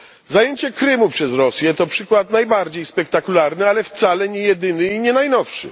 Zajęcie Krymu przez Rosję to przykład najbardziej spektakularny, ale wcale niejedyny i nie najnowszy.